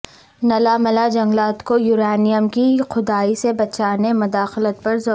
نلہ ملا جنگلات کو یورانیم کی کھدائی سے بچانے مداخلت پر زور